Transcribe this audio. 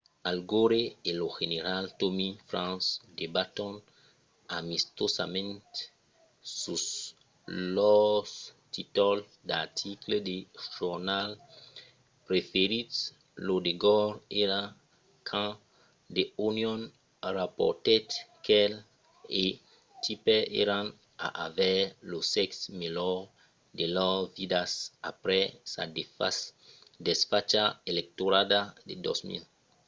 al gore e lo general tommy franks debaton amistosament sus lors títols d'articles de jornals preferits lo de gore èra quand the onion raportèt qu'el e tipper èran a aver lo sèxe melhor de lors vidas aprèp sa desfacha electorala de 2000